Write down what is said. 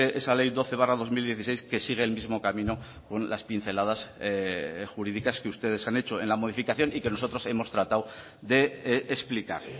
esa ley doce barra dos mil dieciséis que sigue el mismo camino con las pinceladas jurídicas que ustedes han hecho en la modificación y que nosotros hemos tratado de explicar